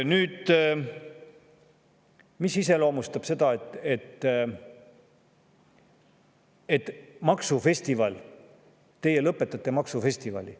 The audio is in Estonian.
Nüüd, mis iseloomustab seda, et teie lõpetate maksufestivali.